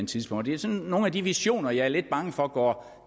tidspunkt det er sådan nogle af de visioner jeg er lidt bange for går